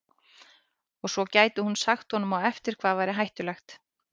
Og svo gæti hún sagt honum á eftir hvað væri hættulegt.